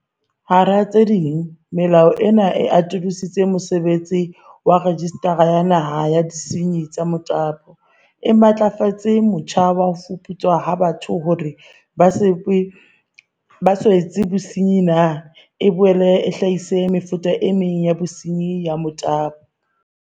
Hara tse ding, melao ena e atolosa mosebetsi wa Rejistara ya Naha ya Disenyi tsa Motabo, e matlafatse motjha wa ho fuputswa ha batho hore ha ba so etse bosenyi na, e boele e hlahise mefuta e meng ya bosenyi ba motabo.